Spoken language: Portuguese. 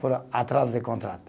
Por atraso de contrato.